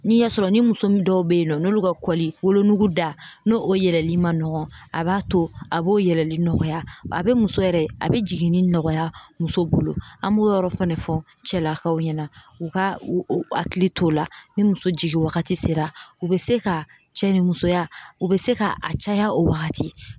Ni y'a sɔrɔ ni muso min dɔw bɛ yen nɔ n'olu ka kɔli wolonugu da n'o yɛlɛli man nɔgɔn a b'a to a b'o yɛlɛli nɔgɔya a bɛ muso yɛrɛ a bɛ jiginni nɔgɔya muso bolo an b'o yɔrɔ fɛnɛ fɔ cɛlakaw ɲɛna u ka u hakili to o la ni muso jigin wagati sera u bɛ se ka cɛ ni musoya u bɛ se ka a caya o waagati.